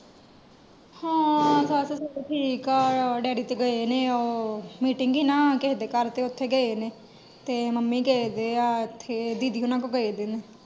ਹਾਂ ਸੱਸ ਸੌਰਾ ਠੀਕ ਆ ਡੈਡੀ ਤੇ ਗਏ ਨੇ ਉਹ ਮੀਟਿੰਗ ਏ ਨਾ ਕਿਹੇ ਦੇ ਘਰ ਤੇ ਓਥੇ ਗਏ ਨੇ ਤੇ ਮੰਮੀ ਗਏ ਹੋਏ ਆ ਇਥੇ ਦੀਦੀ ਹੋਣਾ ਕੋਲ ਗਏ ਹੋਏ ਆ ਦਿਨ।